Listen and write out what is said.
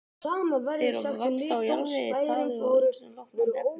Þeir vaxa á jarðvegi, taði eða ýmsum rotnandi efnum.